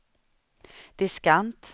diskant